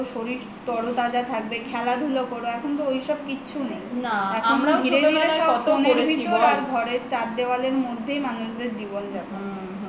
শরীর তরতাজা থাকবে খেলাধুলা কর এখন তো ঐসব কিচ্ছু নেই ঘরের চার দেওয়ালের মধ্যেই মানুষদের জীবন-যাপন